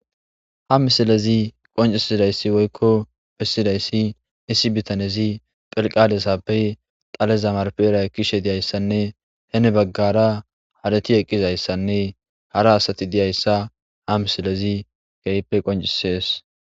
Ha misilezi Qoncisizay Woyko Essidaysi issi bitanezi Tilqalezape dhaleza narpera ekishe Dizaysane Heni bagara Hareti eqizaysaNe hara Asati diza Asati Dizaysa Ha misilezi Kehipe qonccises